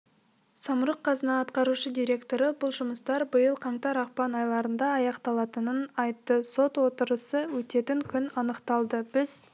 самұрық-қазына атқарушы директоры бұл жұмыстар биыл қаңтар-ақпан айларында аяқталатынын айтты сот отырысы өтетін күн анықталды біз